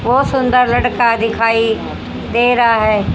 बहुत सुंदर लड़का दिखाई दे रहा है।